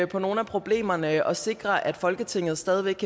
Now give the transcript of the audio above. på nogle af problemerne og sikrer at folketinget stadig væk